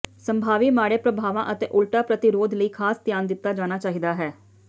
ਸੰਭਾਵੀ ਮਾੜੇ ਪ੍ਰਭਾਵਾਂ ਅਤੇ ਉਲਟਾ ਪ੍ਰਤੀਰੋਧ ਲਈ ਖਾਸ ਧਿਆਨ ਦਿੱਤਾ ਜਾਣਾ ਚਾਹੀਦਾ ਹੈ